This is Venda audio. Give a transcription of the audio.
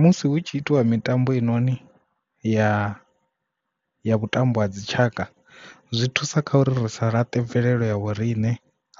Musi hu tshi itiwa mitambo hei noni ya vhutambo ha dzi tshaka zwi thusa kha uri ri sa laṱe mvelelo ya vho rine